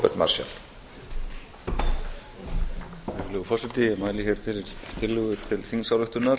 virðulegur forseti ég mæli hér fyrir tillögu til þingsályktunar